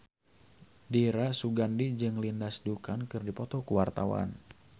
Dira Sugandi jeung Lindsay Ducan keur dipoto ku wartawan